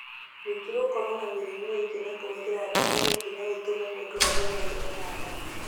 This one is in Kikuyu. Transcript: Ningĩ gũkorwo na mĩrimũ ĩngĩ na kũhũthĩra ndawa ingĩ no itũme mũndũ agĩe na ironda nda.